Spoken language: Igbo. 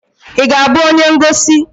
Ị ga-abụ onye ngosi?